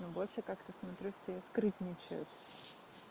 но больше как-то смотрю все скрытничают